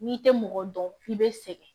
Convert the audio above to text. N'i tɛ mɔgɔ dɔn i bɛ sɛgɛn